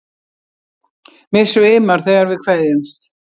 Mig svimar þegar við kveðjumst.